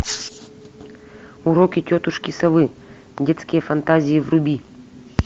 уроки тетушки совы детские фантазии вруби